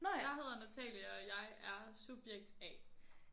Jeg hedder Natalie og jeg er subjekt A